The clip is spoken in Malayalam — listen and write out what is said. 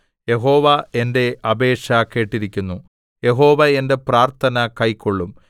യഹോവ എന്റെ അപേക്ഷ കേട്ടിരിക്കുന്നു യഹോവ എന്റെ പ്രാർത്ഥന കൈക്കൊള്ളും